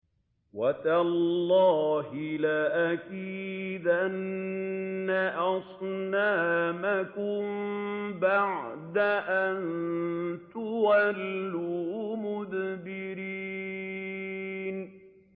وَتَاللَّهِ لَأَكِيدَنَّ أَصْنَامَكُم بَعْدَ أَن تُوَلُّوا مُدْبِرِينَ